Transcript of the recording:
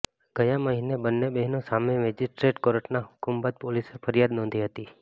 ગયા મહિને બંને બહેનો સામે મેજિસ્ટ્રેટ કોર્ટના હુકમ બાદ પોલીસે ફરિયાદ નોંધી હતી